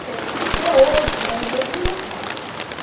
Que até hoje é no mesmo local.